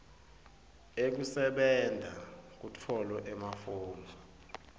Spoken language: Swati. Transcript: ekusebenta kutfolwe emafomu